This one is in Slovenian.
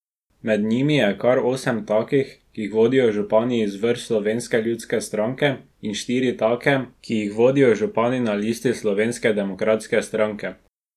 Med njimi je kar osem takih, ki jih vodijo župani iz vrst Slovenske ljudske stranke, in štiri take, ki jih vodijo župani na listi Slovenske demokratske stranke.